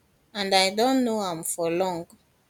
and i don know am for long